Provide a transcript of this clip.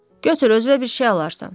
Götür özünə bir şey alarsan.